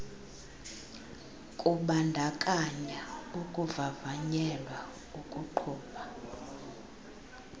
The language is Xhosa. kubandakanya ukuvavanyelwa ukuqhuba